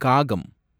காகம்